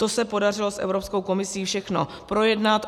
To se podařilo s Evropskou komisí všechno projednat.